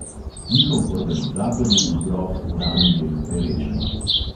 Njihov organizator je bil grof danijel perečnik.